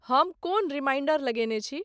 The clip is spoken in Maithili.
हम कोन रिमाइंडर लगेंने छी